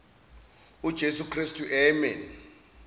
ujesu kristu amen